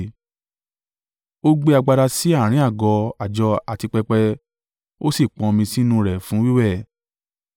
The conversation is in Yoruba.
Ó gbé agbada sí àárín àgọ́ àjọ àti pẹpẹ, ó sì pọn omi sínú rẹ̀ fún wíwẹ̀,